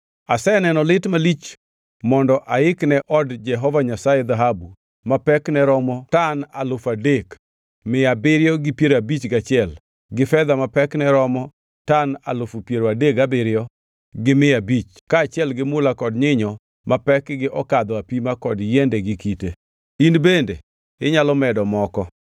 “Aseneno lit malich mondo aikne od Jehova Nyasaye dhahabu ma pekne romo tan alufu adek mia abiriyo gi piero abich kaachiel gi fedha ma pekne romo tan alufu piero adek gabiriyo gi mia abich kaachiel gi mula kod nyinyo ma pekgi okadho apima kod yiende gi kite. In bende inyalo medo moko.